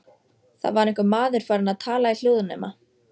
Það var einhver maður farinn að tala í hljóðnema.